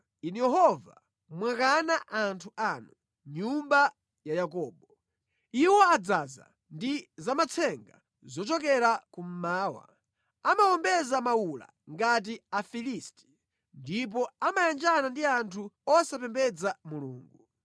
Inu Yehova mwawakana anthu anu, nyumba ya Yakobo. Iwo adzaza ndi zamatsenga zochokera Kummawa; amawombeza mawula ngati Afilisti, ndipo amayanjana ndi anthu osapembedza Mulungu.